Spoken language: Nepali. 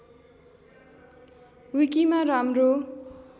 विकिमा राम्रो